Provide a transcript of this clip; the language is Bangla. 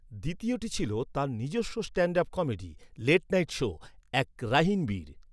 দ্বিতীয়টি ছিল তাঁর নিজের stand up comedy, late night show, এক রাহিন বীর।